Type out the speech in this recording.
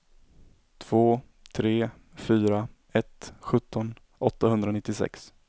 två tre fyra ett sjutton åttahundranittiosex